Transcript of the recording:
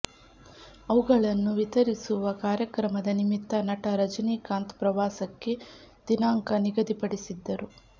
ಅವುಗಳನ್ನು ವಿತರಿಸುವ ಕಾರ್ಯಕ್ರಮದ ನಿಮಿತ್ತ ನಟ ರಜನಿಕಂತ್ ಪ್ರವಾಸಕ್ಕೆ ದಿನಾಂಕ ನಿಗದಿ ಪಡಿಸಿದ್ದರು